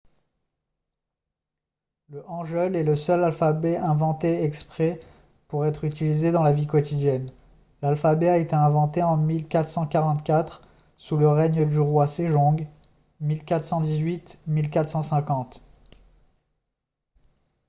le hangeul est le seul alphabet inventé exprès pour être utilisé dans la vie quotidienne. l'alphabet a été inventé en 1444 sous le règne du roi sejong 1418 – 1450